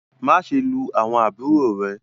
maṣe lu awọn àbúrò rẹ!